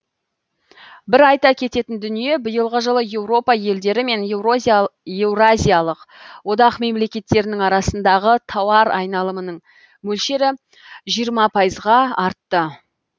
бір айта кететін дүние биылғы жылы еуропа елдері мен еуразиялық одақ мемлекеттерінің арасындағы тауар айналымның мөлшері жиырма пайызға артты